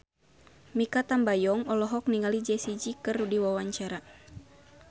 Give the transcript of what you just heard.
Mikha Tambayong olohok ningali Jessie J keur diwawancara